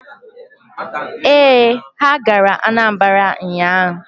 Ee, ha gara Anambara ụnyaahụ.